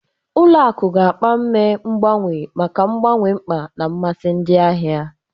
Ụlọ akụ ga-mkpa ime mgbanwe maka mgbanwe mkpa na mmasị ndị ahịa.